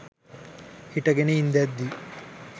හිටගෙන ඉන්දැද්දි